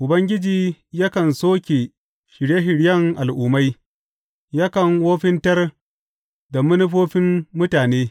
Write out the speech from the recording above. Ubangiji yakan soke shirye shiryen al’ummai; yakan wofintar da manufofin mutane.